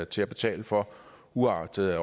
til at betale for uagtet at